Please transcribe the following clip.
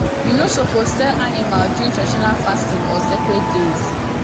you no suppose sell animal during traditional fasting or sacred days